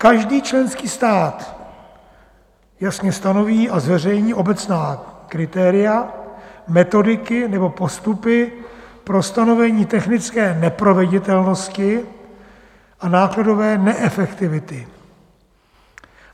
Každý členský stát jasně stanoví a zveřejní obecná kritéria, metodiky nebo postupy pro stanovení technické neproveditelnosti a nákladové neefektivity."